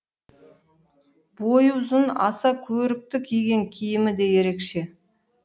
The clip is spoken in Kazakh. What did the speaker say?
бойы ұзын аса көрікті киген киімі де ерекше